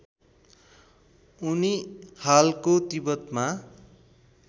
उनी हालको तिब्बतमा